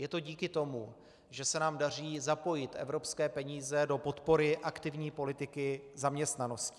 Je to díky tomu, že se nám daří zapojit evropské peníze do podpory aktivní politiky zaměstnanosti.